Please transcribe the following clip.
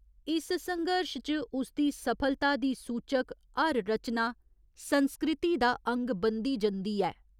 इस संघर्श च उसदी सफलता दी सूचक हर रचना संस्कृति दा अंग बनदी जंदी ऐ।